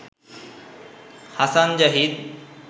Hasan Zahid